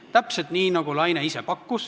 Täpselt nii, nagu Laine ise pakkus.